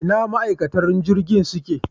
Ina ma'aikatan jirgin suke